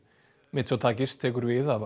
mitsotakis tekur við af